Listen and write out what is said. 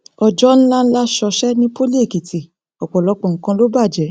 ọjọ ńlá ńlá ṣọṣẹ ní poli èkìtì ọpọlọpọ nǹkan ló bàjẹ